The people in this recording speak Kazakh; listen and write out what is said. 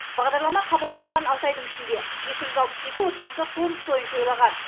бағдарлама қабылданған алты айдың ішінде екі жүз алпыс екі отбасы қоныс тойын тойлаған